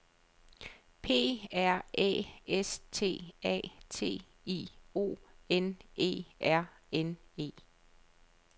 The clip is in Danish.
P R Æ S T A T I O N E R N E